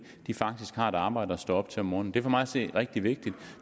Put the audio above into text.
faktisk har et arbejde at stå op til om morgenen det er for mig at se rigtig vigtigt